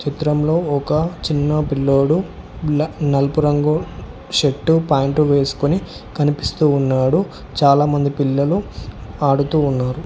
చిత్రంలో ఒక చిన్న పిల్లోడు నలుపు రంగు షర్టు ప్యాంటు వేసుకుని కనిపిస్తూ ఉన్నాడు చాలా మంది పిల్లలు ఆడుతూ ఉన్నారు.